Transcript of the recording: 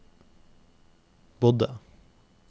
bodde